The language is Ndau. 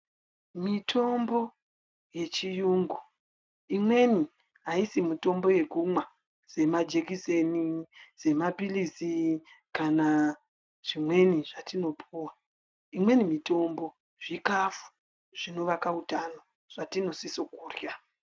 Mitombo yechiyungu imweni haisi mitombo yekumwa semajekiseni semaphirisi kana zvimweni zvatinopuva. Imweni mitombo zvikafu zvinovaka utano zvatinosiso kurya.